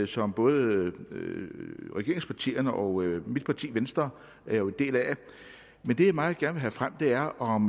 som både regeringspartierne og mit parti venstre er en del af men det jeg meget gerne vil have frem er om